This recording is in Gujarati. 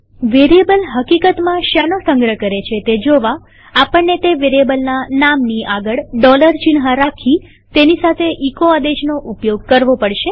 વેરીએબલ હકીકતમાં શેનો સંગ્રહ કરે છે તે જોવા આપણને તે વેરીએબલના નામની આગળ ચિહ્ન રાખી તેની સાથે એચો આદેશનો ઉપયોગ કરવો પડશે